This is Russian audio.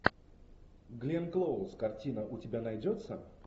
гленн клоуз картина у тебя найдется